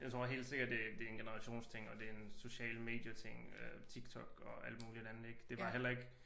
Jeg tror helt sikkert det det en generationsting og det en sociale medier ting TikTok og alt muligt andet ik det var heller ikke